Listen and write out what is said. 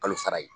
Kalo sara ye